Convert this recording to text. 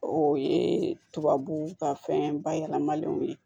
O ye tubabuw ka fɛn bayɛlɛmalenw ye